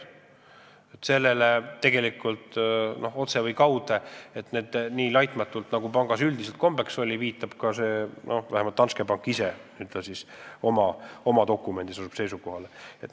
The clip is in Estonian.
Sellele tegelikult kas otse või kaude viitab ka Danske pank ise – oma dokumendis asub ta just sellele seisukohale.